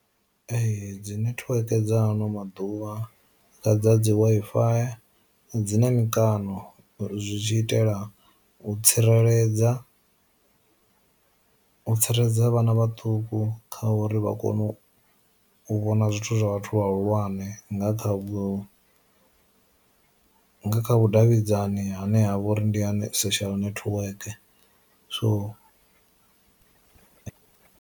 Ee dzi nethiweke dza ano maḓuvha dza dzi Wi-Fi dzina mikano zwi tshi itela u tsireledza, u tsireledza vhana vhaṱuku kha uri vha kone u u vhona zwithu zwa vhathu vha hulwane nga kha vhu nga kha vhu vhudavhidzani hune ha vha uri ndi ha social network so.